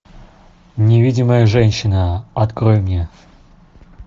невидимая женщина открой мне